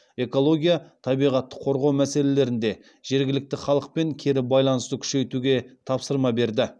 экология табиғатты қорғау мәселелерінде жергілікті халықпен кері байланысты күшейтуге тапсырма берді